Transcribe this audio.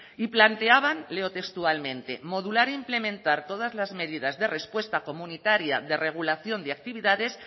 y planteaban leo textualmente modular e implementar todas las medidas de respuesta comunitaria de regulación de actividades